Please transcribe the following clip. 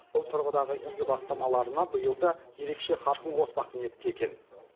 бұл тұрғыдағы игі бастамаларына биыл да ерекше қарқын қоспақ ниетте екен